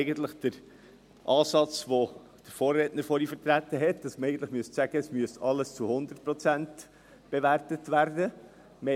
Dies ist der Ansatz, den der Vorredner vertreten hat, wonach man eigentlich sagen müsste, dass alles zu 100 Prozent bewertet werden muss.